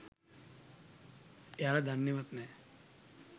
එයාල දන්නෙවත් නෑ